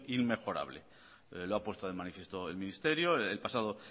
inmejorable lo ha puesto de manifiesto el ministerio el pasado